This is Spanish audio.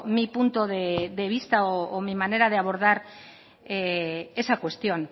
mi punto de vista o mi manera de abordar esa cuestión